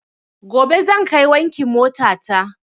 Gobe zan kai wankin mota ta